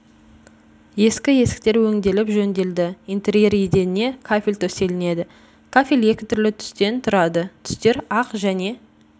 ескі есіктер өңделіп жөнделді интерьер еденіне кафл төселінеді кафел екі түрлі түстен тұрады түстер ақ және